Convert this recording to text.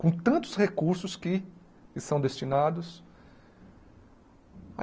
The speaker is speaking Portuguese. Com tantos recursos que que são destinados.